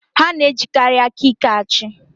Ha na-ejikarị aka ike achị.